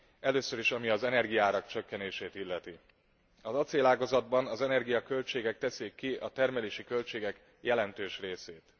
Először is, ami az energiaárak csökkenését illeti az acélágazatban az energiaköltségek teszik ki a termelési költségek jelentős részét.